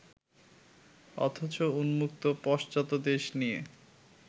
অথচ উন্মুক্ত পশ্চাৎদেশ নিয়ে